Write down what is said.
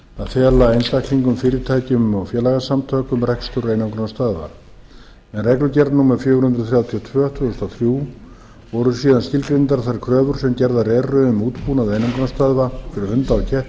að fela einstaklingum fyrirtækjum og félagasamtökum rekstur einangrunarstöðva með reglugerð númer fjögur hundruð þrjátíu og tvö tvö þúsund og þrjú voru síðan skilgreindar þær kröfur sem gerðar eru um útbúnað einangrunarstöðva fyrir hunda og ketti